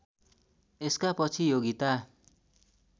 यसका पछि योगिता